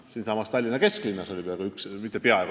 Siinsamas Tallinna kesklinnas oli üks selline.